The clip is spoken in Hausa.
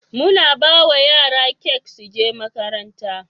muna bawa yara kek suje makaranta